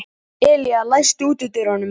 Elía, læstu útidyrunum.